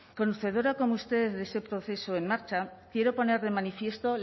conocedoras como usted de ese proceso en marcha quiero poner de manifiesto